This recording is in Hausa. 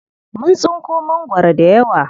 Mun tsinko mangwaro dayawa.